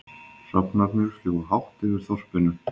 Hrafnarnir fljúga hátt yfir þorpinu.